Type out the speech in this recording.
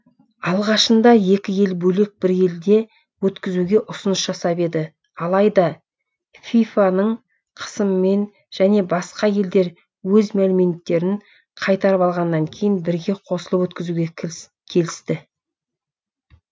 алғашында екі ел бөлек бір елде өткізуге ұсыныс жасап еді алайда фифа ның қысымымен және басқа елдер өз мәліметтерін қайтарып алғаннан кейін бірге қосылып өткізуге келісті